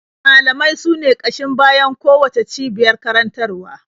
Malamai sune ƙashin bayan kowacce cibiyar karantarwa.